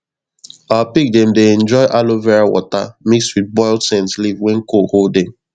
our pig dem dey enjoy aloe vera water mix with boiled scent leaf when cold hold dem